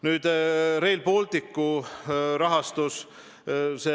Nüüd, Rail Balticu rahastus.